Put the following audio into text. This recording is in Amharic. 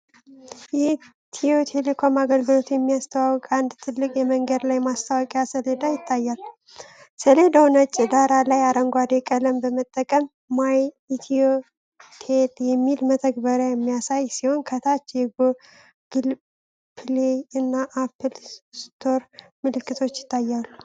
የኢትዮ ቴሌኮም አገልግሎት የሚያስተዋውቅ አንድ ትልቅ የመንገድ ላይ የማስታወቂያ ሰሌዳ ይታያል። ሰሌዳው ነጭ ዳራ ላይ አረንጓዴ ቀለም በመጠቀም “ማይ ኢትዮቴል ” የሚል መተግበሪያን የሚያሳይ ሲሆን፤ ከታች የጎግል ፕሌይ እና አፕል ስቶር ምልክቶች ይታያሉ።